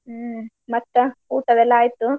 ಹ್ಮ್ ಮತ್ತ, ಊಟ ಅದೆಲ್ಲಾ ಆಯ್ತು?